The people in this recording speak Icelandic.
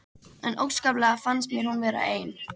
En óskaplega fannst mér hún vera ein.